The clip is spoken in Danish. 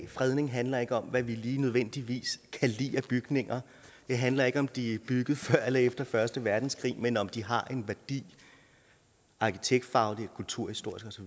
fredning handler ikke om hvad vi lige nødvendigvis kan lide af bygninger det handler ikke om om de er bygget før eller efter første verdenskrig men om de har en værdi arkitektfagligt kulturhistorisk